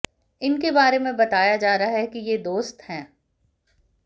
इनके बारे में बताया जा रहा है कि ये दोस्त हैं